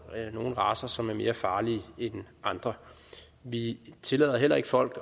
nogle racer som er mere farlige end andre vi tillader heller ikke folk